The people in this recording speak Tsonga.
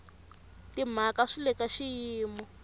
timhaka swi le ka xiyimo